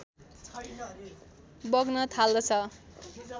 बग्न थाल्दछ